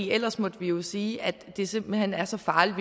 ellers måtte vi vi sige at det simpelt hen er så farligt